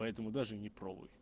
поэтому даже не пробуй